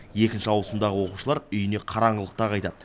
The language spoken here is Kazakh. екінші ауысымдағы оқушылар үйіне қараңғылықта қайтады